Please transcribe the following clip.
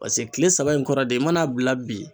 Paseke kile saba in kɔrɔ de i mana bila bi.